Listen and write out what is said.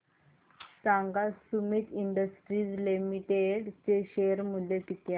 सांगा Sumeet industries limited चे share मूल्य किती आहे